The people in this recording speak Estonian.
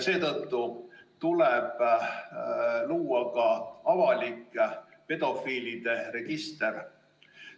Seetõttu tuleb luua avalik pedofiilide register.